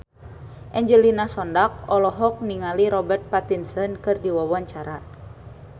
Angelina Sondakh olohok ningali Robert Pattinson keur diwawancara